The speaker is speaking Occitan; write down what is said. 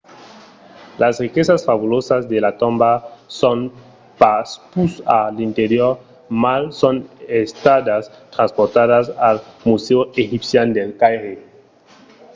las riquesas fabulosas de la tomba son pas pus a l'interior mas son estadas transportadas al musèu egipcian del caire